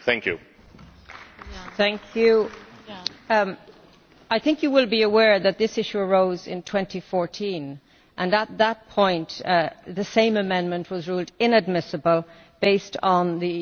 I think you will be aware that this issue arose in 2014, and at that point the same amendment was ruled inadmissible on the basis of the President's legal interpretation, which was delivered to him.